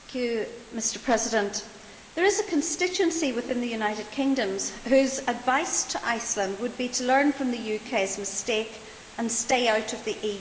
Mr President, there is a constituency within the United Kingdom whose advice to Iceland would be to learn from the UK's mistake and stay out of the EU.